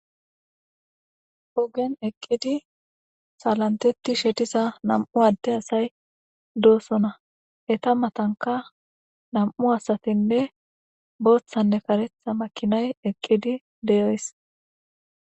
Ogen eqqidi salantetti shetisa nam7u adde asay doosona eta matanka nam7u asatinne booththanne karetha makinay eqqidi deyoys.